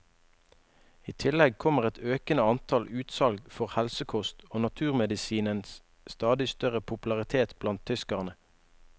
I tillegg kommer et økende antall utsalg for helsekost og naturmedisinens stadig større popularitet blant tyskerne.